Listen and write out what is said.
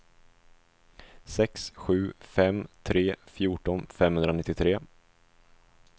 sex sju fem tre fjorton femhundranittiotre